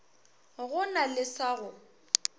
go na le sa go